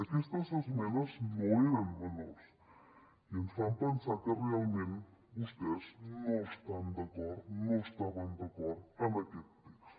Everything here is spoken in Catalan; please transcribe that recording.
aquestes esmenes no eren menors i ens fan pensar que realment vostès no estan d’acord no estaven d’acord amb aquest text